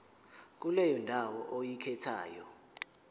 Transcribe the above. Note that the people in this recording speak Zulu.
kuleyo ndawo oyikhethayo